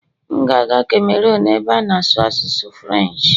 M ga-aga Cameron ebe a na-asụ asụsụ Firench